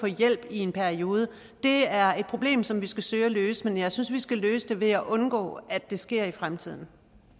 hjælp i en periode er et problem som vi skal søge at løse men jeg synes vi skal løse det ved at undgå at det sker i fremtiden